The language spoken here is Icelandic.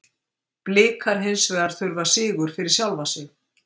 Blikar hins vegar þurfa sigur fyrir sjálfa sig.